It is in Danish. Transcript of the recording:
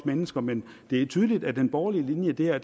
mennesker men det er tydeligt at den borgerlige linje i det her